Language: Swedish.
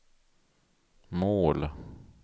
mål